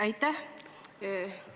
Aitäh!